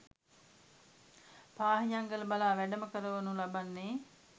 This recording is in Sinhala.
පාහියන්ගල බලා වැඩම කරවනු ලබන්නේ